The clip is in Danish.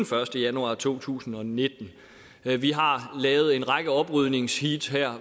første januar to tusind og nitten vi vi har lavet en række oprydningsheat her